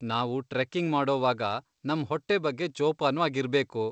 ನಾವು ಟ್ರೆಕ್ಕಿಂಗ್ ಮಾಡೋವಾಗ ನಮ್ ಹೊಟ್ಟೆ ಬಗ್ಗೆ ಜೋಪಾನ್ವಾಗ್ ಇರ್ಬೇಕು.